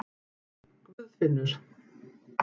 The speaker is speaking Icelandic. Guðfinnur